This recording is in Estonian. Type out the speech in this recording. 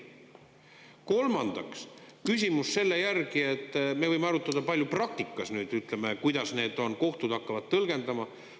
Kolmandaks, küsimus selle järgi, et me võime arutada palju praktikas nüüd, ütleme, kuidas need on, kohtud hakkavad tõlgendama.